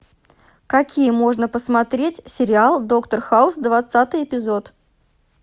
какие можно посмотреть сериал доктор хаус двадцатый эпизод